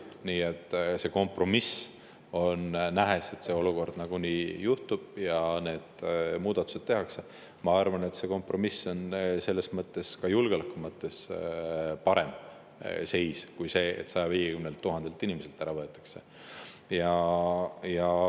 Nii et, et see nagunii juhtub ja need muudatused tehakse, ma arvan, et ka julgeoleku mõttes on see kompromiss parem kui see, et see 150 000 inimeselt ära võetaks.